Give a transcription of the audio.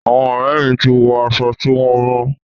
Àwọn ọ̀rẹ́ mi ti wọ aṣọ tí wọn rán.